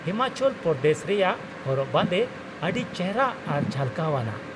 ᱦᱤᱢᱟᱪᱚᱞ ᱯᱨᱚᱫᱮᱥ ᱨᱮᱭᱟᱜ ᱦᱚᱨᱚᱜ ᱵᱟᱸᱫᱮ ᱟᱹᱰᱤ ᱪᱮᱦᱨᱟ ᱟᱨ ᱡᱷᱟᱞᱠᱟᱣ ᱟᱱᱟᱜ ᱾